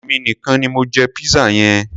Èmi nìkan ni mo jẹ pizza yẹn.